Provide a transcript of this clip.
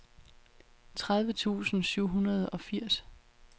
tredive tusind syv hundrede og firs